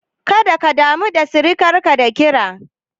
Kada ka damu sirikarka da kira.